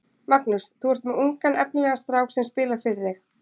Magnús: Þú er með ungan efnilegan strák sem spilar fyrir þig?